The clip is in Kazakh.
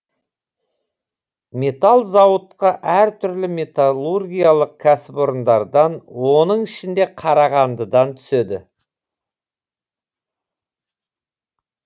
металл зауытқа әр түрлі металлургиялық кәсіпорындардан оның ішінде қарағандыдан түседі